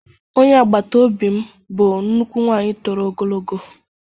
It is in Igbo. Onye agbata obi m bụ nnukwu nwanyị toro ogologo